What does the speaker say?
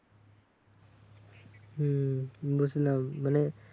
হম হম বুঝলাম মানে